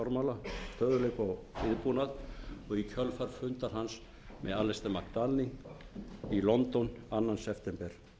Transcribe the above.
fjármálastöðugleika og viðbúnað og í kjölfar funda hans með alistair mcdarling í london annan september